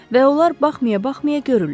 Və onlar baxmaya-baxmaya görürlər.